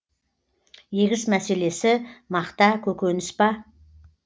егіс мәселесі мақта көкөніс па